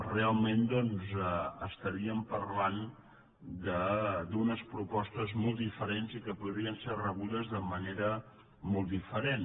realment parlaríem d’unes propostes molt diferents i que podrien ser rebudes de manera molt diferent